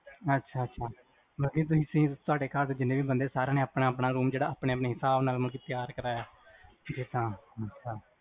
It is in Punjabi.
ਅੱਛਾ ਅੱਛਾ ਮਤਲਬ ਕੇ ਤੁਹਾਡੇ ਘਰ ਵਿੱਚ ਜੀਹਨੇ ਵੀ ਬੰਦਿਆਂ ਸਾਰਿਆਂ ਨੇ ਆਪਣਾ ਆਪਣਾ ਰੂਮ ਜਿਹੜਾ ਆਪਣੇ ਆਪਣੇ ਹਿਸਾਬ ਨਾਲ਼ ਮਤਲਬ ਕ ਤਿਆਰ ਕਰਾਇਆ